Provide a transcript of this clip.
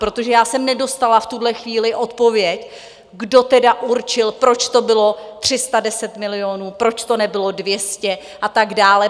Protože já jsem nedostala v tuhle chvíli odpověď, kdo tedy určil, proč to bylo 310 milionů, proč to nebylo 200 a tak dále.